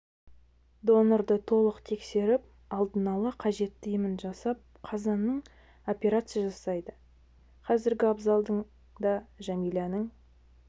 донорды толық тексеріп алдын ала қажетті емін жасап қазанның операция жасайды қазір абзалдың да жәмиләның